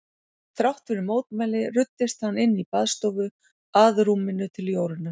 Þrátt fyrir mótmæli ruddist hann inn í baðstofu að rúminu til Jórunnar.